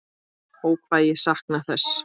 Ó hvað ég sakna þess.